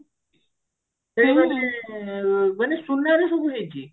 ମାନେ ସୁନାରେ ସବୁ ହେଇଛି